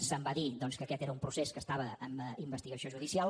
se’m va dir doncs que aquest era un procés que estava en investigació judicial